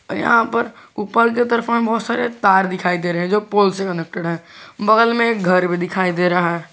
यहां पर ऊपर की तरफ में बहोत सारे तार दिखाई दे रहे जो पोल से कनेक्टेड है बगल में एक घर भी दिखाई दे रहा--